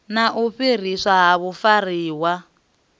na u fhiriswa ha vhafariwa